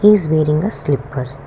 he is wearing a slippers.